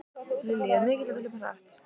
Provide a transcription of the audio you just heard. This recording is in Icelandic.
Lillý: Er mikilvægt að hlaupa hratt?